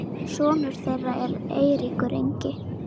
sonur þeirra er Eiríkur Ingi.